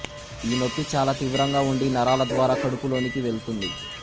ఈ నొప్పి చాలా తీవ్రంగా ఉండి నరాల ద్వారా కడుపులోనికి వెళ్తుంది